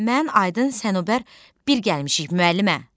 Mən, Aydın, Sənubər bir gəlmişik müəllimə.